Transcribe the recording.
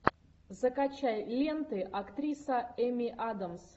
закачай ленты актриса эми адамс